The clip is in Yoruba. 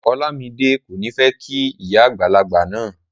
Olamide ko ni fẹ kí ìyá àgbàlagbà náà.